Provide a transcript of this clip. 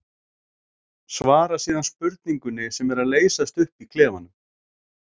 Svara síðan spurningunni sem er að leysast upp í klefanum.